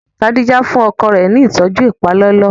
Kadija fúnni ọkọ rẹ ní ìtọjú ipalọlọ